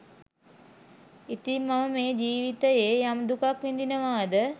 ඉතින් මම මේ ජීවිතයේ යම් දුකක් විඳිනවාද